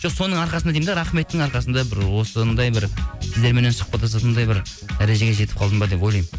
жоқ соның арқасында деймін де рахметтің арқасында бір осындай бір сіздермен сұхбаттасатындай бір дәрежеге жетіп қалдым ба деп ойлаймын